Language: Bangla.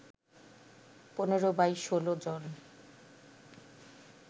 ১৫/১৬ জন